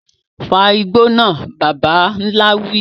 Fa igbó náà, bàbà ńlá wí.